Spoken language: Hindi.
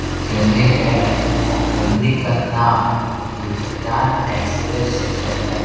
एक क्लिनिक है और क्लिनिक का नाम हिंदुस्तान एक्स-रे सेंटर है।